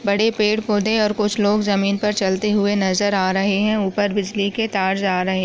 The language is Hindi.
पेड़-पौधे और कुछ लोग जमीन पर चलते हुए नजर आ रहे हैं ऊपर बिजली के तार जा रहे।